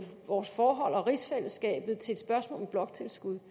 vores forhold og rigsfællesskabet til et spørgsmål om bloktilskud